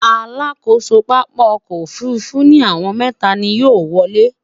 alákóso pápá ọkọ òfurufú ni àwọn mẹwa ni yóò wolè